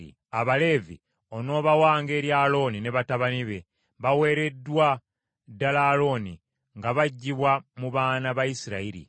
Abaleevi onoobawanga eri Alooni ne batabani be; baweereddwa ddala Alooni nga baggyibwa mu baana ba Isirayiri.